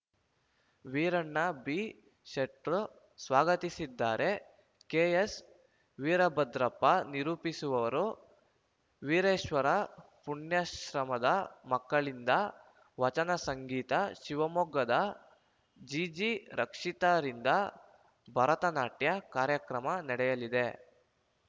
ವೀರಣ್ಣ ಬಿಶೆಟ್ಟರ್‌ ಸ್ವಾಗತಿಸಿದರೆ ಕೆಎಸ್‌ ವೀರಭದ್ರಪ್ಪ ನಿರೂಪಿಸುವರು ವೀರೇಶ್ವರ ಪುಣ್ಯಾಶ್ರಮದ ಮಕ್ಕಳಿಂದ ವಚನ ಸಂಗೀತ ಶಿವಮೊಗ್ಗದ ಜಿಜಿರಕ್ಷಿತಾರಿಂದ ಭರತನಾಟ್ಯ ಕಾರ್ಯಕ್ರಮ ನಡೆಯಲಿದೆ